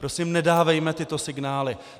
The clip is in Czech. Prosím, nedávejme tyto signály!